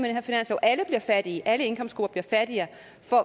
er fattige alle indkomstgrupper bliver fattigere